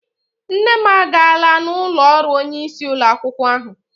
Nne m agaala n'ụlọ ọrụ onyeisi ụlọ akwụkwọ ahụ.